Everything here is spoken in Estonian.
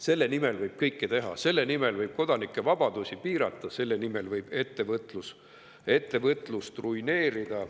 Selle nimel võib kõike teha: selle nimel võib kodanike vabadusi piirata ja selle nimel võib ettevõtlust ruineerida.